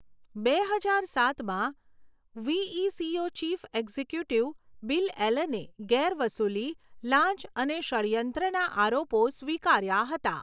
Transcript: બે હજાર સાતમાં, વીઈસીઓ ચીફ એક્ઝિક્યુટિવ બિલ એલને ગેરવસૂલી, લાંચ અને ષડ્યંત્રના આરોપો સ્વીકાર્યાં હતાં.